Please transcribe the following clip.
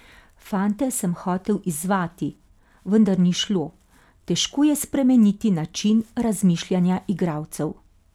Fante sem hotel izzvati, vendar ni šlo, težko je spremeniti način razmišljanja igralcev.